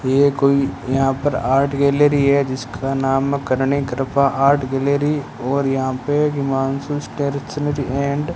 ये कोई यहां पर आर्ट गैलरी है जिसका नाम करणी कृपा आर्ट गैलरी और यहां पे हिमांशु स्टेरशनरी एंड --